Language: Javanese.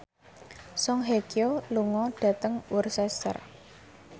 Song Hye Kyo lunga dhateng Worcester